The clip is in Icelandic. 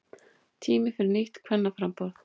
Tími fyrir nýtt kvennaframboð